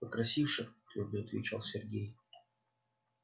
покрасивше твёрдо отвечает сергей